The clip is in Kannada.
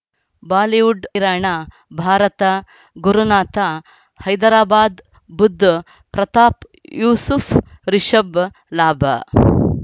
ಬಾಲಿವುಡ್ ಹಿರಾಣ ಭಾರತ ಗುರುನಾಥ ಹೈದರಾಬಾದ್ ಬುಧ್ ಪ್ರತಾಪ್ ಯೂಸುಫ್ ರಿಷಬ್ ಲಾಭ